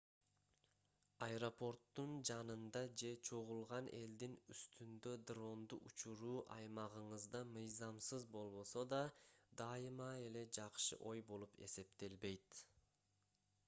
аэропорттун жанында же чогулган элдин үстүндө дронду учуруу аймагыңызда мыйзамсыз болбосо да дайыма эле жакшы ой болуп эсептелбейт